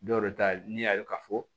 Dɔw ta ye n'i y'a ye k'a fɔ